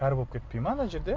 кәрі болып кетпей ма ана жерде